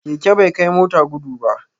Keke bai kai mota gudu ba